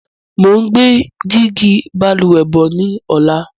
Mo ń gbé dígí Balùwẹ́ bọ̀ ni ọ̀la.